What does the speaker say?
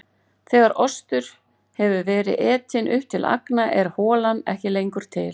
Þegar osturinn hefur verið etinn upp til agna er holan ekki lengur til.